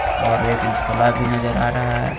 और एक झोला भी नजर आ रहा है.